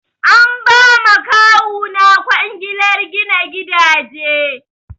An ba ma kawuna kwangilar gina gidaje.